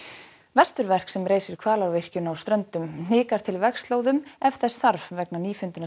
vesturverk sem reisir Hvalárvirkjun á Ströndum hnikar til vegslóðum ef þess þarf vegna